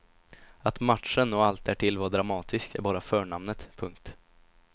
Att matchen och allt därtill var dramatiskt är bara förnamnet. punkt